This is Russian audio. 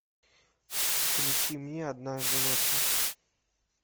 включи мне однажды ночью